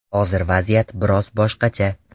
Hozir vaziyat biroz boshqacha.